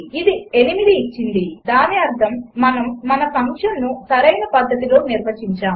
అది 8 ఇచ్చింది దాని అర్థం మనము మన ఫంక్షన్ను సరైన పధ్ధతిలో నిర్వచించాము